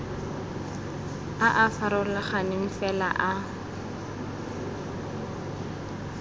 a a farologaneng fela a